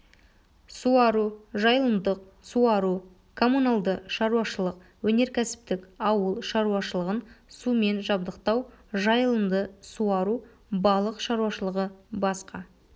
суару жайылымдық суару коммуналды шаруашылық өнеркәсіптік ауыл шаруашылығын сумен жабдықтау жайылымды суару балық шаруашылығы басқа